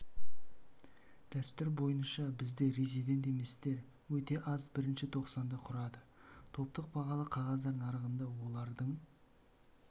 дәстүр бойныша бізде резидент еместер өте аз бірінші тоқсанда құрады топтық бағалы қағаздар нарығында олардың